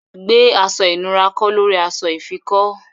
Gbè aṣọ̀ ìnùra kọ̀ lórí aṣọ̀ ìfikọ́!